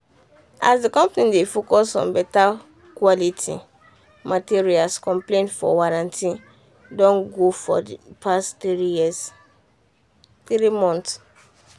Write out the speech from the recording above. as the company dey focus on beta quality material complaint for warranty don go for the past three years three months.